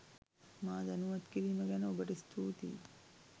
මා දැනුවත් කිරීම ගැන ඔබට ස්තුතියි.